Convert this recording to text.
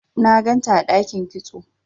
na ganta a dakin kitso